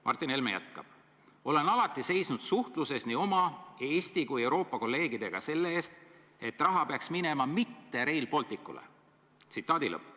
" Martin Helme jätkab: "Olen alati seisnud suhtluses nii oma Eesti kui Euroopa kolleegidega selle eest, et raha peaks minema mitte Rail Balticule.